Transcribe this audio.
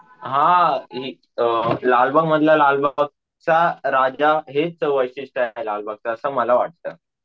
हा अम लालबाग मधला लालबागचा राजा हेच वैशिष्ट्य आहे लालबागचा असं मला वाटत.